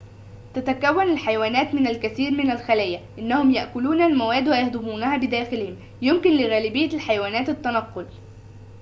تتكون الحيوانات من الكثير من الخلايا إنهم يأكلون المواد ويهضمونها بداخلهم يمكن لغالبية الحيوانات التنقل